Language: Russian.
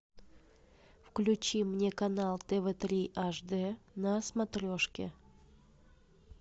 включи мне канал тв три аш д на смотрешке